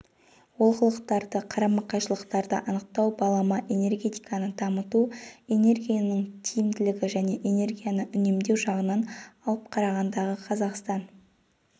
олқылықтарды қарама-қайшылықтарды анықтау балама энергетиканы дамыту энергияның тиімділігі және энергияны үнемдеу жағынан алып қарағандағы қазақстан